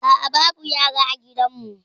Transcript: A'a babu yara a gidanmu.